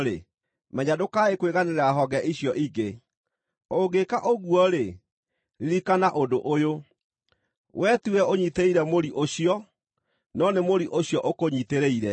menya ndũkae kwĩganĩra honge icio ingĩ. Ũngĩka ũguo-rĩ, ririkana ũndũ ũyũ: Wee tiwe ũnyiitĩrĩire mũri ũcio, no nĩ mũri ũcio ũkũnyiitĩrĩire.